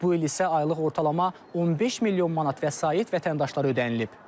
Bu il isə aylıq ortalama 15 milyon manat vəsait vətəndaşlara ödənilib.